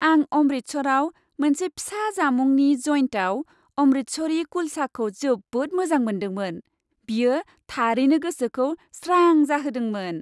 आं अमृतसराव मोनसे फिसा जामुंनि जइन्टआव अमृतसरी कुलचाखौ जोबोद मोजां मोनदोंमोन। बियो थारैनो गोसोखौ स्रां जाहोदोंमोन।